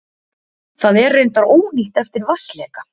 Það er reyndar ónýtt eftir vatnsleka